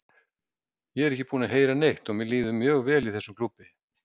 Ég er ekki búinn að heyra neitt og mér líður mjög vel í þessum klúbbi.